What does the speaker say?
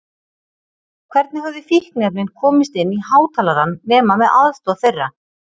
Hvernig höfðu fíkniefnin komist inn í hátalarann nema með aðstoð þeirra?